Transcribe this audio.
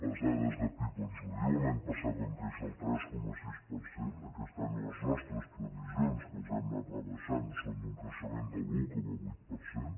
les da·des de pib ens ho diuen l’any passat vam créixer el tres coma sis per cent aquest any les nostres previsions que les hem anat rebaixant són d’un creixement de l’un coma vuit per cent